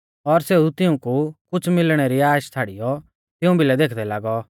और सेऊ तिऊंकु कुछ़ मिलणै री आश छ़ाड़ियौ तिऊं भिलै देखदै लागौ